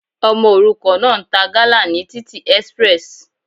Ọmọ òrukàn náà ń ta gala ní títì express.